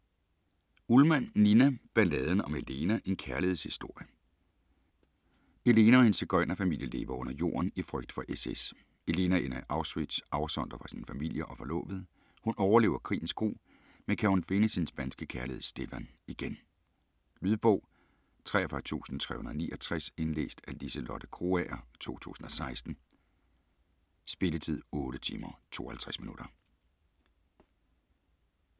Ullmann, Nina: Balladen om Elena: en kærlighedshistorie Elena og hendes sigøjnerfamilie lever under jorden i frygt for SS. Elena ender i Auschwitz afsondret fra sin familie og forlovede. Hun overlever krigens gru, men kan hun finde sin spanske kærlighed Stefan igen? Lydbog 43369 Indlæst af Liselotte Krogager, 2016. Spilletid: 8 timer, 52 minutter.